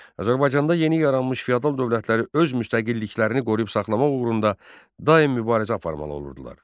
Azərbaycanda yeni yaranmış feodal dövlətləri öz müstəqilliklərini qoruyub saxlamaq uğrunda daim mübarizə aparmalı olurdular.